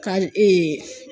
Ka